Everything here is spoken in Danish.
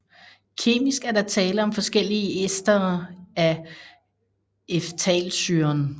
Kemisk er der tale om forskellige estere af ftalsyren